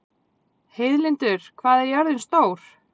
Heiðlindur, hvað er jörðin stór?